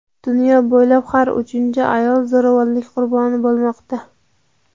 Dunyo bo‘ylab har uchinchi ayol zo‘ravonlik "qurboni" bo‘lmoqda.